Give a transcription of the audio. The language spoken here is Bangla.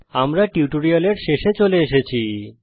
আমরা এই টিউটোরিয়ালের শেষে চলে এসেছি